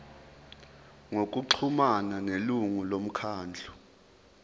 ngokuxhumana nelungu lomkhandlu